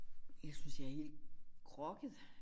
Jeg synes jeg er helt groggy